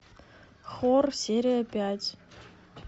хор серия пять